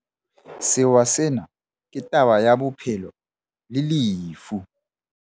Sewa sena ke taba ya bophelo le lefu.